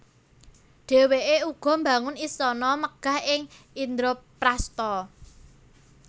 Dhéwékè uga mbangun istana megah ing Indraprastha